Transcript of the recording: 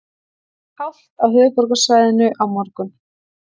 Hált á höfuðborgarsvæðinu á morgun